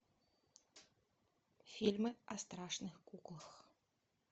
фильмы о страшных куклах